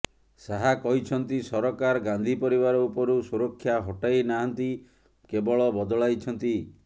ଶାହା କହିଛନ୍ତି ସରକାର ଗାନ୍ଧୀ ପରିବାର ଉପରୁ ସୂରକ୍ଷା ହଟେଇ ନାହାନ୍ତି କେବଳ ବଦଳାଇଛନ୍ତି